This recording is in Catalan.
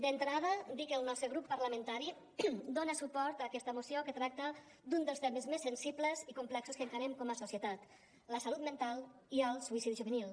d’entrada dir que el nostre grup parlamentari dona suport a aquesta moció que tracta d’un dels temes més sensibles i complexos que encarem com a societat la salut mental i el suïcidi juvenil